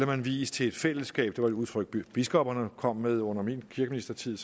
man vies til et fællesskab det var et udtryk biskopperne kom med under min kirkeministertid